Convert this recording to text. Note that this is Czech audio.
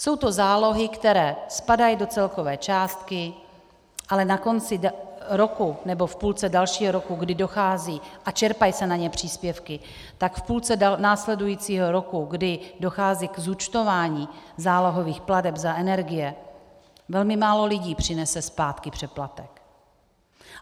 Jsou to zálohy, které spadají do celkové částky, ale na konci roku nebo v půlce dalšího roku, kdy dochází, a čerpají se na ně příspěvky, tak v půlce následujícího roku, kdy dochází k zúčtování zálohových plateb za energie, velmi málo lidí přinese zpátky přeplatek.